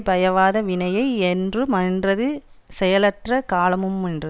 பயவாத வினையை என்று மென்றது செயலற்ற காலமுமென்றது